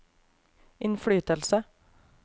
innflytelse